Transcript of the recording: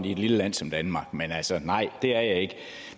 i et lille land som danmark men altså nej det er jeg ikke